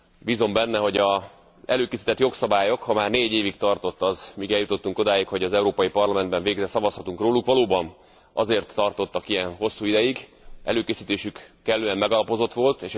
Bízom benne, hogy a jogszabályok előkészítése ha már négy évig tartott az, hogy eljutottunk odáig, hogy az Európai Parlamentben végre szavazhatunk róluk valóban azért tartott ilyen hosszú ideig, mert előkészítésük kellően megalapozott volt.